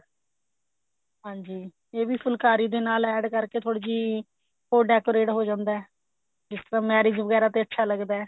ਹਾਂਜੀ ਇਹ ਵੀ ਫੁਲਕਾਰੀ ਦੇ ਨਾਲ add ਕਰਕੇ ਥੋੜੀ ਜਿਹੀ ਹੋਰ decorate ਹੋ ਜਾਂਦਾ ਹੈ ਜਿਸ ਤਰ੍ਹਾਂ marriage ਵਗੇਰਾ ਤੇ ਅੱਛਾ ਲੱਗਦਾ